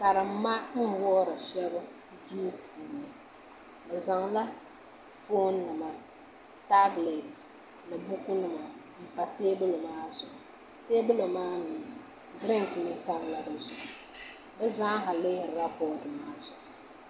Karimma n wuhuri shab duu puuni bi zaŋla foon nima tablɛt ni buku nima n pa teebuli maa zuɣu teebuli maa mii diriink nim tamla di zuɣu bi zaa ha lihirila bood maa zuɣu